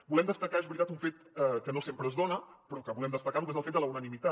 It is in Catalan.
volem destacar és veritat un fet que no sempre es dona però que volem destacarlo que és el fet de la unanimitat